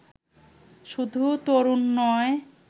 শুধু তরুণ নয়